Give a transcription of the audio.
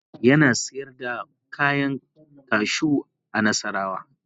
Ibrahim yana sayar da kwayan kashu a nassarawa.